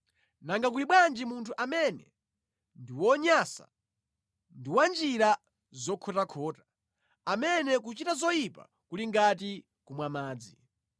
nanga kuli bwanji munthu amene ndi wonyansa ndi wa njira zokhotakhota, amene kuchita zoyipa kuli ngati kumwa madzi.